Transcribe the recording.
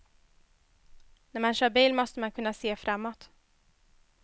När man kör bil måste man kunna se framåt.